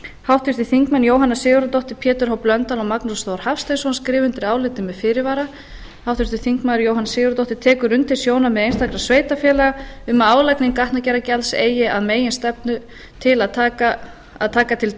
háttvirtir þingmenn jóhanna sigurðardóttir pétur h blöndal og magnús þór hafsteinsson skrifa undir álitið með fyrirvara háttvirtir þingmenn jóhanna sigurðardóttir tekur undir sjónarmið einstakra sveitarfélaga um að álagning gatnagerðargjalds eigi að meginstefnu til að taka til